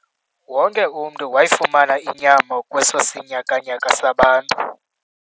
Wonke umntu wayifumana inyama kweso sinyakanyaka sabantu.